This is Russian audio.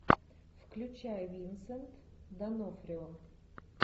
включай винсент д онофрио